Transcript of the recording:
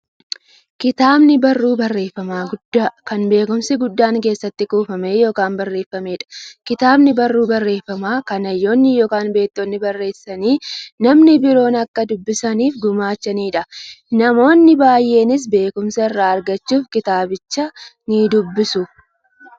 Kitaabni barruu barreeffamaa guddaa, kan beekumsi guddaan keessatti kuufame yookiin barreefameedha. Kitaabni barruu barreeffamaa, kan hayyoonni yookiin beektonni barreessanii, namni biroo akka dubbisaniif gumaachaniidha. Namoonni baay'eenis beekumsa irraa argachuuf kitaabicha nidubbisu.